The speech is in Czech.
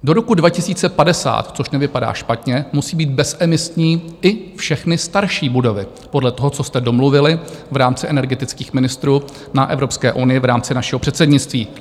Do roku 2050, což nevypadá špatně, musí být bezemisní i všechny starší budovy - podle toho, co jste domluvili v rámci energetických ministrů na Evropské unii v rámci našeho předsednictví.